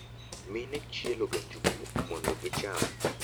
mine chielo ga njugu mondo gicham